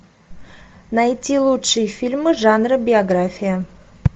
найти лучшие фильмы жанра биография